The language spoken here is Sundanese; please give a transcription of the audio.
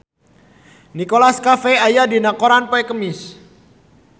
Nicholas Cafe aya dina koran poe Kemis